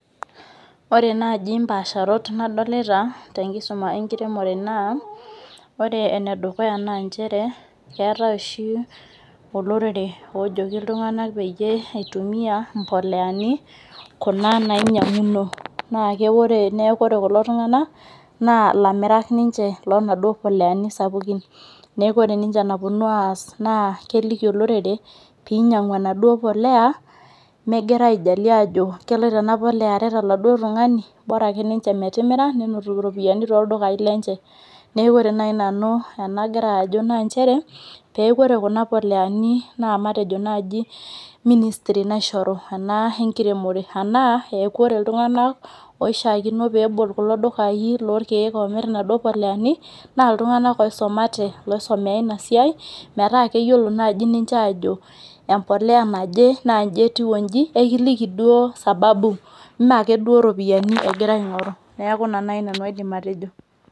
Ore naji mpasharot nadolita tenkisuma enkiremore naa ore enedukuya naa keetae oshi olorere ojoki iltunganak peyie itumia imboleani kuna nainyianguno , paa ore niaku ore kulo tunganak naa ilamirak ninche lonaduo poleani sapukin , neeku ore ninche enaponu aas naa keliki olorere naa pinyangu enaduo polea megira aijalie ajo keloito enaduo polea aret oladuo tungani , bora akeninche metimira netum iropiyiani toldukai lenye. Niaku ore nai nanu enagira ajo naa nchere peeku ore kuna poleani naa matejo naji ministry naishoru ena enkiremore , anaa eeku ore iltunganak oishiakino pebol kulo dukai omir inaduo poleani naa iltunganak oisomate , oisomea inasiai, metaa keyiolo ninche ajo empolea naje naa inji etiu onji , ekiliki ake duo sababu , mmee akeduo iropiyiani egira aingoru , niaku ina nai nanu aidim atejo.